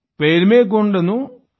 पैन्निदा भृगु पर्चिदानु